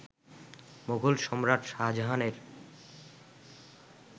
মোগল সম্রাট শাহজাহানের